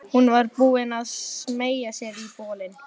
Hún var búin að smeygja sér í bolinn.